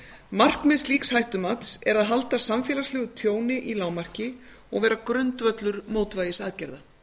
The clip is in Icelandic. markmið slíks hættumats er að halda samfélagslegu tjóni í lágmarki og vera grundvöllur mótvægisaðgerða